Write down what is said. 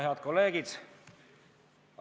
Head kolleegid!